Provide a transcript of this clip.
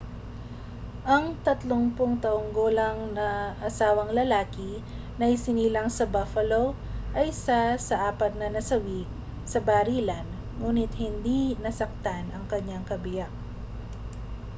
ang 30 taong gulang na asawang lalaki na isinilang sa buffalo ay isa sa apat na nasawi sa barilan nguni't hindi nasaktan ang kaniyang kabiyak